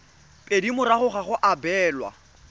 pedi morago ga go abelwa